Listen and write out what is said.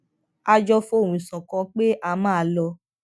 a jọ fohùn ṣòkan pé a máa lo